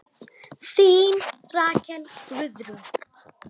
Þín Rakel Guðrún.